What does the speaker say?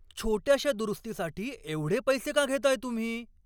छोट्याशा दुरुस्तीसाठी एवढे पैसे का घेताय तुम्ही?